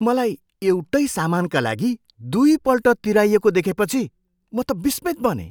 मलाई एउटै सामानका लागि दुईपल्ट तिराइएको देखेपछि म त विस्मित बनेँ।